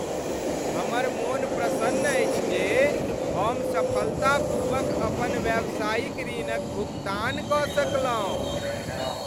हमर मोन प्रसन्न अछि जे हम सफलतापूर्वक अपन व्यावसायिक ऋणक भुगतान कऽ सकलहुँ।